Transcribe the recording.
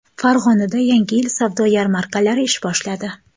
Farg‘onada Yangi yil savdo yarmarkalari ish boshladi.